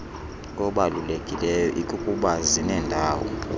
obalulekileyo ikukuba zinendawo